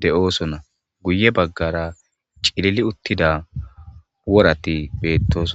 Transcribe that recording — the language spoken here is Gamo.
deo'ssonna guye bagara cililli uttidda worathinne bethossona.